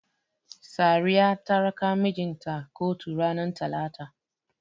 Sariya ta raka mijin ta kotu ranar Talata.